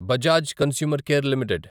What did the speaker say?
Bajaj consumer care limited